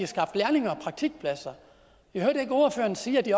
skabt lærlinge og praktikpladser jeg hørte ikke ordføreren sige at de